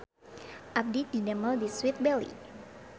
Abdi didamel di Sweet Belly